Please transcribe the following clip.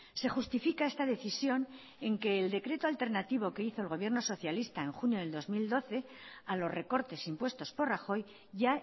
se justifica esta decisión en que el decreto alternativo que hizo el gobierno socialista en junio del dos mil doce a los recortes impuestos por rajoy ya